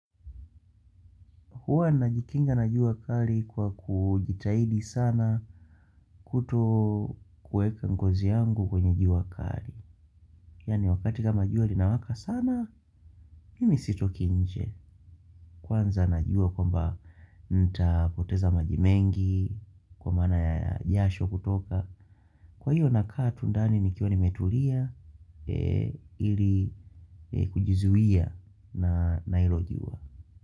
Huwa najikinga na jua kali kwa kujitahidi sana kutokuweka ngozi yangu kwenye jua kali. Yaani wakati kama jua linawaka sana, mimi sitoki nje. Kwanza najua kwamba nitapoteza maji mengi, kwa maana ya jasho kutoka. Kwa hiyo nakaa tu ndani nikiwa nimetulia ili kujizuia na hilo jua.